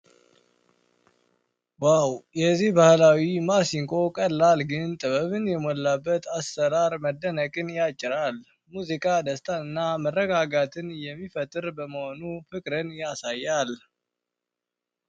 ዋው! የዚህ ባህላዊ ማስንቆ ቀላል ግን ጥበብ የተሞላበት አሠራር መደነቅን ያጭራል ። ሙዚቃ ደስታንና መረጋጋትን የሚፈጥር በመሆኑ ፍቅርን ያሳያል ።